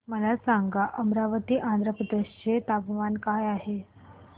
मला सांगा अमरावती आंध्र प्रदेश चे तापमान काय आहे